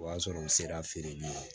O y'a sɔrɔ u sera feereli ma